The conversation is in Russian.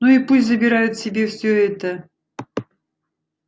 ну и пусть забирают себе все это